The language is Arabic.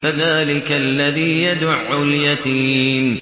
فَذَٰلِكَ الَّذِي يَدُعُّ الْيَتِيمَ